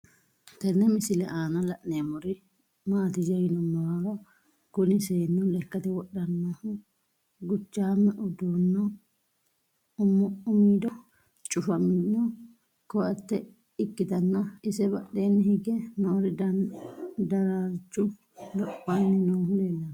Tenne misile aanna la'neemmori maattiya yinummoro kunni seennu lekkatte wodhannohu guchaamme umiiddo cuffannicho koatte ikkittanna ise badheenni hige noori daraarichu lophanni noohu leelanno